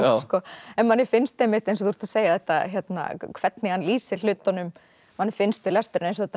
manni finnst einmitt eins og þú ert að segja hvernig hann lýsir hlutunum manni finnst við lesturinn að þetta